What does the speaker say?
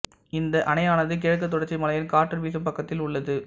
இந்த அணையானது கிழக்கு தொடர்ச்சி மலையின் காற்று வீசும் பக்கத்தில் உள்ளது